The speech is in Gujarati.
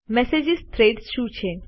મેસેજ થ્રેડ્સ શું છે